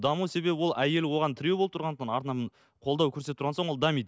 даму себебі ол әйелі оған тіреу болып тұрғандықтан артынан қолдау көрсетіп тұрған соң ол дамиды